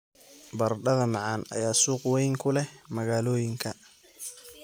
Baradhada macaan ayaa suuq weyn ku leh magaalooyinka.